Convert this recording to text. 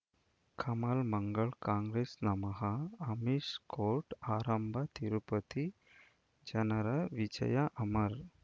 ಕಮಲ್ ಮಂಗಳ್ ಕಾಂಗ್ರೆಸ್ ನಮಃ ಅಮಿಷ್ ಕೋರ್ಟ್ ಆರಂಭ ತಿರುಪತಿ ಜನರ ವಿಜಯ ಅಮರ್